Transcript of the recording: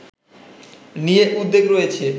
নিয়ে উদ্বেগ রয়েছে